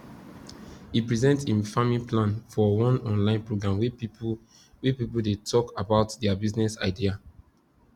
he present him farming plan for one online program wey people wey people dey talk about their business idea